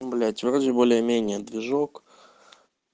блять вроде более-менее движок